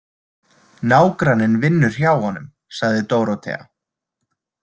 Nágranninn vinnur hjá honum, sagði Dórótea.